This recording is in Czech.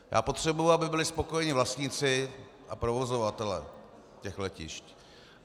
Já potřebuju, aby byli spokojení vlastníci a provozovatelé těch letišť.